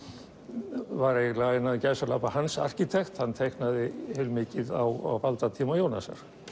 var eiginlega innan gæsalappa hans arkitekt hann teiknaði heilmikið á valdatíma Jónasar